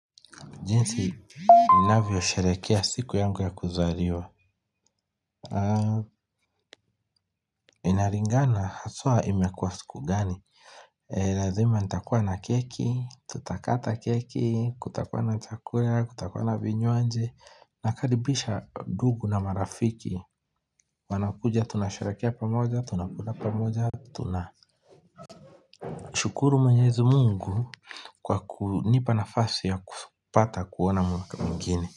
Jinsi ninavyo sherehekea siku yangu ya kuzaliwa, inalingana haswa imekuwa siku gani. Lazima nitakuwa na keki, tutakata keki, kutakuwa na chakula, kutakuwa na vinywaji. Nakaribisha dugu na marafiki, wanakuja tunasherehekea pamoja, tunakula pamoja, tuna, shukuru mwenyezi Mungu kwa kunipa nafasi ya kupata kuona mwaka mwingine.